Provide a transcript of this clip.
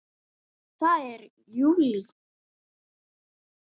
Það er JÚLÍ!